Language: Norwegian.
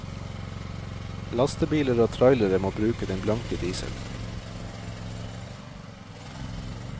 Lastebiler og trailere må bruke den blanke dieselen.